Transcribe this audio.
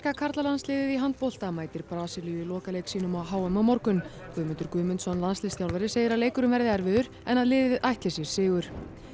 karlalandsliðið í handbolta mætir Brasilíu í lokaleik sínum á h m á morgun Guðmundur Guðmundsson landsliðsþjálfari segir að leikurinn verði erfiður en að liðið ætli sér sigur